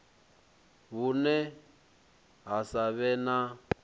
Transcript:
vhune ha sa vhe na